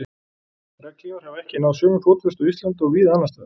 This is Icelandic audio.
regnhlífar hafa ekki náð sömu fótfestu á íslandi og víða annars staðar